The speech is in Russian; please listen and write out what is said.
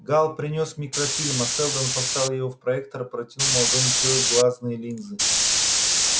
гаал принёс микрофильм а сэлдон вставив его в проектор протянул молодому человеку глазные линзы